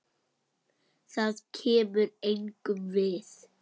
Það kemur engum við.